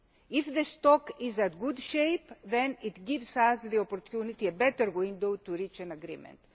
shape. If the stock is in good shape then it gives us the opportunity, a better window of opportunity, to reach an agreement.